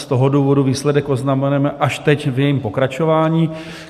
Z toho důvodu výsledek oznamujeme až teď v jejím pokračování.